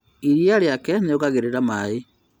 Iria riĩke nĩongagĩrĩra maĩ